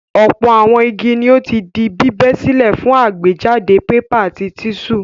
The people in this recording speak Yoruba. Ọ̀pọ̀ àwọn igi ni ó ti di bíbẹ́ sílẹ̀ fún àgbéjáde pépà àti tíṣù.